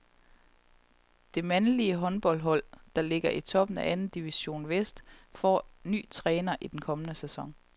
Det mandlige håndboldhold, der ligger i toppen af anden division vest, får ny træner i den kommende sæson.